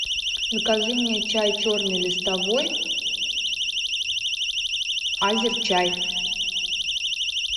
закажи мне чай черный листовой азерчай